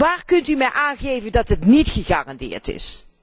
Hoe kunt u mij aangeven dat dat niet gegarandeerd is?